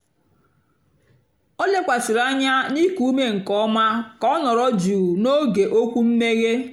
ó lékwàsị̀rị́ ányá nà íkú úmé nkè ọ́má kà ọ́ nọ̀rọ̀ jụ́ụ́ n'ógé ókwú mmèghe.